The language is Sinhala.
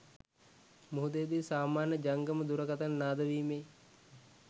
මුහුදේදි සාමාන්‍ය ජංගම දුරකථන නාද වීමේ